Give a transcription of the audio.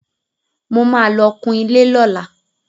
Mo ma lọ kun ilé lọ́la